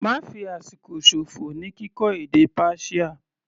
Ma fi àsìkò ṣòfò ní kíkọ́ èdè Persia.